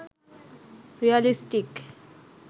realistic